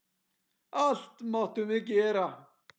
Allt máttum við gera.